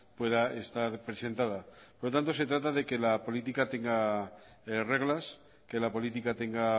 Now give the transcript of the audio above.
pueda estar presentada por lo tanto se trata de que la política tenga reglas que la política tenga